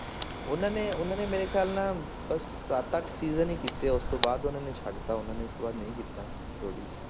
ਉਹਨਾਂ ਨੇ ਉਹਨਾਂ ਨੇ ਮੇਰੇ ਖਿਆਲ ਨਾਲ ਬਸ ਸੱਤ ਅੱਠ season ਹੀ ਕੀਤੇ, ਉਸ ਤੋਂ ਬਾਅਦ ਉਹਨਾਂ ਨੇ ਛੱਡ ਦਿੱਤਾ, ਉਹਨਾਂ ਨੇ ਉਸ ਤੋਂ ਬਾਅਦ ਨਹੀਂ ਕੀਤਾ ਰੋਡੀਜ।